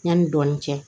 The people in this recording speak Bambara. Yanni dɔɔnin cɛ